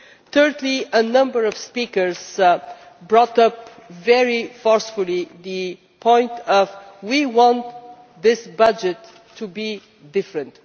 Thirdly, a number of speakers brought up very forcefully the point that we want this budget to be different.